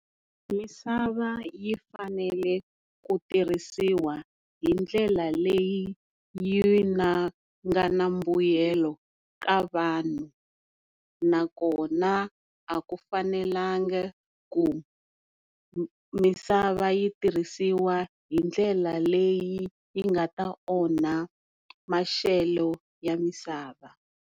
Misava yi fanele ku tirhisiwa hindlela leyi yi nga na mbuyelo ka vanhu nakona a ku fanelangi ku misava yi tirhisiwa hi ndlela leyi yi nga ta onha maxelo ya misava.